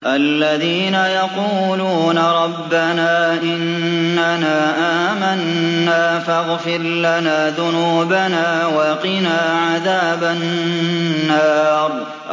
الَّذِينَ يَقُولُونَ رَبَّنَا إِنَّنَا آمَنَّا فَاغْفِرْ لَنَا ذُنُوبَنَا وَقِنَا عَذَابَ النَّارِ